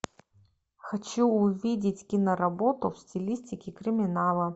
хочу увидеть киноработу в стилистике криминала